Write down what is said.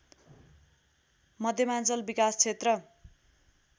मध्यमाञ्चल विकास क्षेत्र